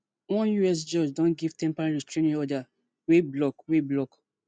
one us judge don give temporary restraining order wey block wey block